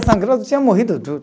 Sangrando tinha morrido tudo